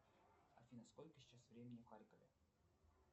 афина сколько сейчас времени в харькове